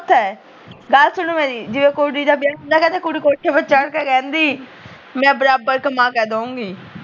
ਗੱਲ ਸੁਣ ਮੇਰੀ ਜਦੋ ਕੁੜੀ ਦਾ ਵਿਆਹ ਹੁੰਦਾ ਕਹਿੰਦੇ ਕੁੜੀ ਕੋਠੇ ਤੇ ਚੜ੍ਹ ਕ ਕਹਿੰਦੀ ਮੈਂ ਬਰਾਬਰ ਕਮਾ ਕ ਦਓਗੀ